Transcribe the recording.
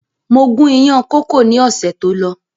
Mo gun ìyàn kókò ni ọ̀sẹ̀ tó lọ